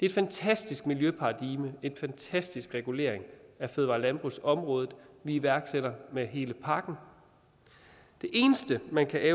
et fantastisk miljøparadigme og en fantastisk regulering af fødevare og landbrugsområdet vi iværksætter med hele pakken det eneste man kan